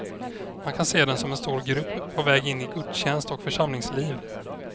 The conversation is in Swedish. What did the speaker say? Man kan se den som en stor grupp på väg in i gudstjänst och församlingsliv.